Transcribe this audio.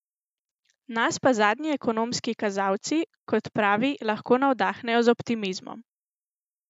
Nas pa zadnji ekonomski kazalci, kot pravi, lahko navdahnejo z optimizmom.